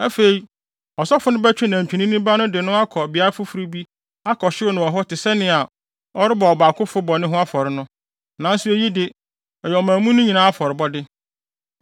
Afei asɔfo no bɛtwe nantwinini ba no de no akɔ beae foforo bi akɔhyew no wɔ hɔ te sɛnea ɔrebɔ ɔbaakofo bɔne ho afɔre no. Nanso eyi de, ɛyɛ ɔman mu no nyinaa afɔrebɔde.